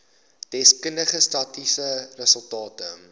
deskundige statistiese resultate